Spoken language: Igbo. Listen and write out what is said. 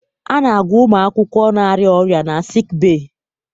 A na-agwọ ụmụ akwụkwọ na-arịa ọrịa na sikibee